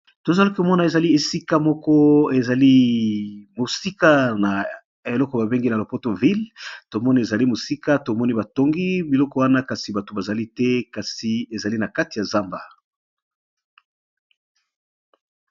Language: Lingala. Tozali komona , ezali esika moko ezali mosika na eloko babengi na lopoto ville ! tomoni ezali mosika tomoni batongi biloko wana kasi bato bazali te ! kasi ezali na kati ya zamba .